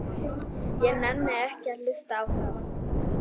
Ég nenni ekki að hlusta á það.